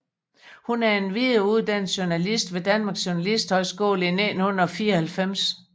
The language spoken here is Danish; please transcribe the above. Hun er endvidere uddannet journalist ved Danmarks Journalisthøjskole 1994